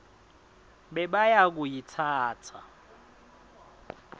bebayakuyitsatsa